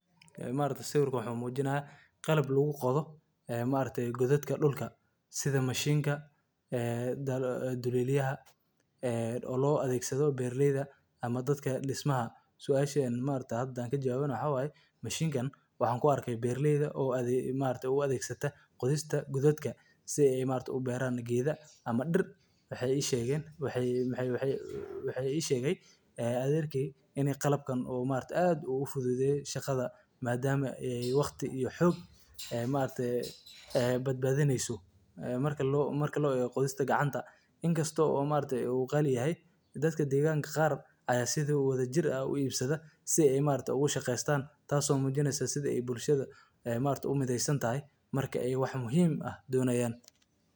Ee ma'aragte sawirkaan wx muujinaya qalab laguu qodo ee ma'aragte godadka dulka sidaa mashiinka ee duleliyaaha ee oo lo adegsado beraleyda ama daadka dhismaaha. suashan ma'aragta hada hadaan kaa jawabana waxa wayee maashinkan waxan kuu arkee beraleyda oo ma'aragte oo adegsata qodistaa godaadka sii ey ma'aragte uu beraan geda ama diir waxey ii shegen waxey waxey ii shegaay aderkey inii qalabkaan uu ma'aragtay aad oo uu fududeye shaqada madaama ee waqti iyo xog ee ma'aragte ee badbaadineyso ee marka loo eego qodistaa gacaanta inkastoo oo ma'aragte uu qaali yahay dadkaa degaanka qaar aya sii wadajiir aah uu ibsaada sii ey ma'aragte uu shaqeystan taaso muujineyso sidaa eey bulshaada ee ma'aragte uu mideysaan tahay markaa eey wax muhiim aah donaayan.